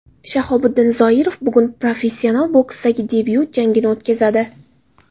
Shahobiddin Zoirov bugun professional boksdagi debyut jangini o‘tkazadi.